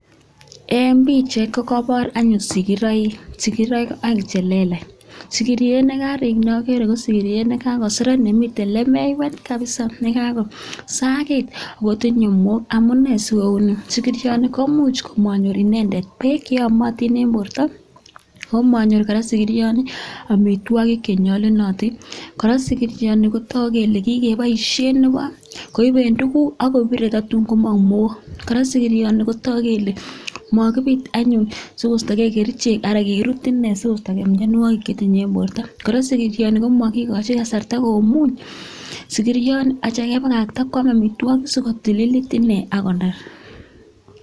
Eng pichait ko kobor anyun sigiroik sigiroik aeng che lelach sigiriet ne karik ko neager ko sigiriet ne kakoseret nemitei lemeiwet kabisa nekakosakit ak kotinyei mook amu ne si kou ni sigirioni? ko much ko manyor beek che yomotin eng borto ako manyor kora sigirioni amitwogik che nyolunotin. Kora sigirioni koboru kole kikoboishe nebo koiben tukuk ak kobirei tatun komong mook. Kora sigirioni kotoku kole makibit anyun sikoistogei kerichek ara kikirut ine sikoistogei mienwogik chetinye eng borto. Kora sigirioni ko makikoji kasarta komung sigirioni atya kebakakta kwam amitwogik ak kotlilit ine akoner.